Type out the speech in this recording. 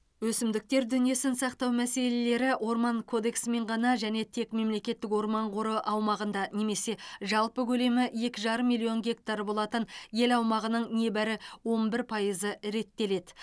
өсімдіктер дүниесін сақтау мәселелері орман кодексімен ғана және тек мемлекеттік орман қоры аумағында немесе жалпы көлемі екі жарым миллион гектар болатын ел аумағының небары он бір пайызы реттеледі